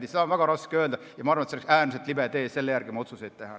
Ma arvan, et oleks äärmiselt libe tee selle järgi oma otsuseid teha.